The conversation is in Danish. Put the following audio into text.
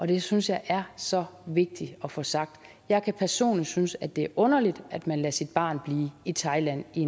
det synes jeg er så vigtigt at få sagt jeg kan personligt synes at det er underligt at man lader sit barn blive i thailand i